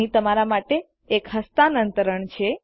અહીં તમારા માટે એક હસ્તાન્તરણ છે